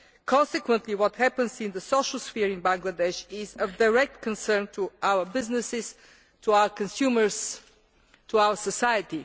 Consequently what happens in the social sphere in Bangladesh is of direct concern to our businesses, to our consumers and to our society.